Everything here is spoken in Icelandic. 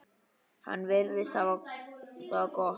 Hann virðist hafa það gott.